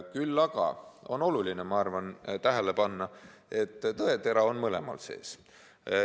Küll aga on oluline, ma arvan, tähele panna, et tõetera on mõlemal sees.